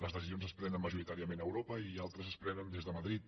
les decisions es prenen majoritàriament a europa i altres es prenen des de madrid